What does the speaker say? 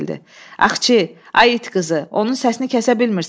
Axçı, ay it qızı, onun səsini kəsə bilmirsən?